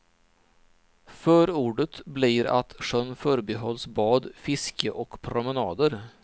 Förordet blir att sjön förbehålls bad, fiske och promenader.